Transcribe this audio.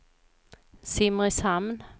Simrishamn